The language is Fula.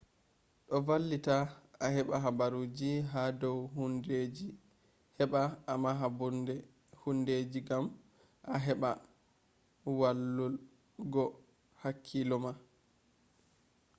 do vallita a heba haburuje ha dou hundedeji heba a maha hundeji gam a heba wallul go hakkilo ma